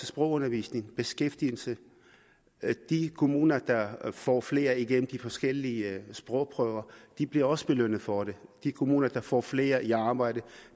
sprogundervisning og beskæftigelse de kommuner der får flere igennem de forskellige sprogprøver bliver også belønnet for det de kommuner der får flere i arbejde